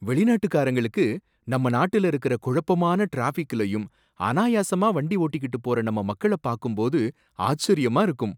வெளிநாட்டுக்காரங்களுக்கு நம்ம நாட்டுல இருக்கற கொழப்பமான ட்ராஃபிக்லையும் அனாயாசமா வண்டி ஓட்டிக்கிட்டு போற நம்ம மக்களபாக்கும் போது ஆச்சரியமா இருக்கும்!